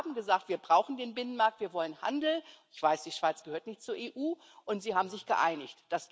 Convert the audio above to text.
Aber sie haben gesagt, wir brauchen den Binnenmarkt, wir wollen Handel ich weiß, die Schweiz gehört nicht zur EU und sie haben sich geeinigt.